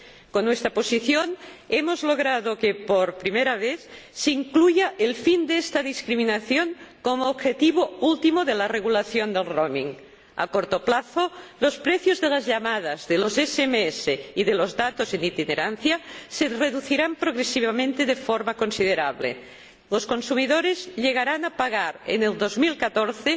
Con nuestra posición hemos logrado que, por primera vez, se incluya el fin de esta discriminación como objetivo último de la regulación de la itinerancia. A corto plazo, los precios de las llamadas, de los SMS y de los datos en itinerancia se reducirán progresivamente de forma considerable. Los consumidores llegarán a pagar en 2014